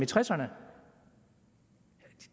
tresserne